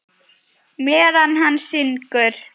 Meðan hann syngur.